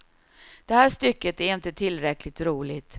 Det här stycket är inte tillräckligt roligt.